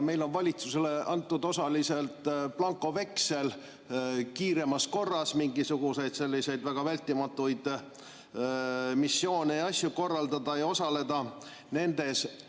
Meil on valitsusele antud osaliselt blankoveksel kiiremas korras mingisuguseid selliseid väga vältimatuid missioone ja asju korraldada, et Eesti nendes osaleks.